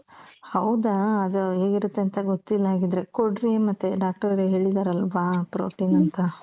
ಹೌದಾ ಅದ್ ಹೇಗಿರುತ್ತೆ ಅಂತ ಗೊತ್ತಿಲ್ಲ ಹಾಗಿದ್ರೆ ಕೊಡ್ರಿ ಮತ್ತೆ doctor ರೇ ಹೇಳಿದಾರಲ್ವಾ protein ಅಂತ.